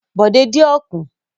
Bòdé dín ọ̀kùn.